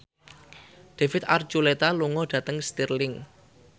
David Archuletta lunga dhateng Stirling